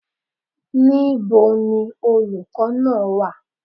Níbo ni olùkọ́ náà wà?